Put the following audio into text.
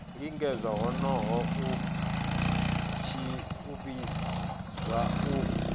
lingedza honoho a vhidzwa u